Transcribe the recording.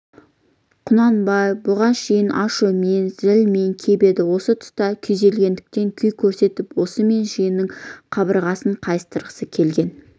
құнанбай бұған шейін ашумен зілмен кеп енді осы тұста күйзелгендік күй көрсетіп осымен жиынның қабырғасын қайыстырғысы келген